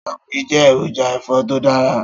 Stockfish jẹ́ èròjà ẹ̀fọ́ tó dára